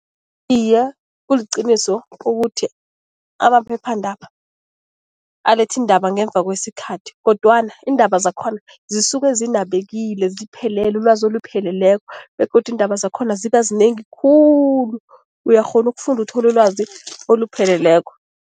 Iye, kuliqiniso ukuthi amaphephandaba aletha iindaba ngemva kwesikhathi kodwana iindaba zakhona zisuke zinabekile, ziphelele, ulwazi olupheleleko begodu iindaba zakhona ziba zinengi khulu, uyakghona ukufunda uthole ulwazi olupheleleko.